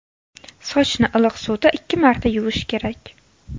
Sochni iliq suvda ikki marta yuvish kerak.